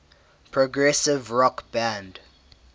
progressive rock band